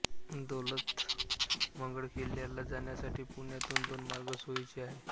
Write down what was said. दौलतमंगळ किल्ल्याला जाण्यासाठी पुण्यातून दोन मार्ग सोयीचे आहेत